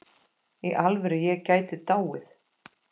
Í alvöru, ég gæti dáið.